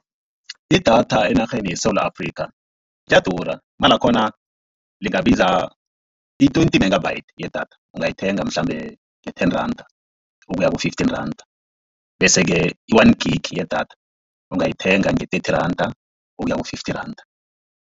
Idatha enarheni yeSewula Afrika, liyadura imali yakhona lingabiza i-twenty megabyte yedatha ungayithenga mhlambe nge-ten randa ukuya ku-fifteen randa. Bese-ke i-one gig yedatha ungayithenga nge-thirty randa ukuya ku-fifty randa.